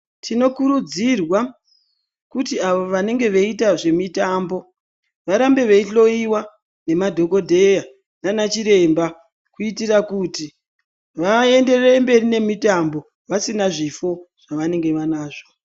Tinokurudzirwa kuti avo vanenge veiita zvemitambo varambe veihloyiwa nemadhokodheya nanachiremba kuitira kuti vaenderere mberi nemitambo vasina zvifo zvavanenge vanazvo.